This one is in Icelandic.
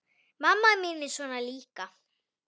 Mamma mín er svona líka.